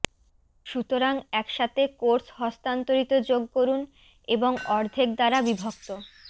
সুতরাং একসাথে কোর্স হস্তান্তরিত যোগ করুন এবং অর্ধেক দ্বারা বিভক্ত